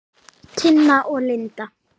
Tina og Linda.